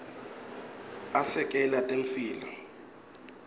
asekela temphilo